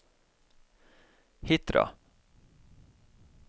Hitra